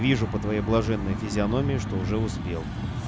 вижу по твоей блаженной физиономии что уже успел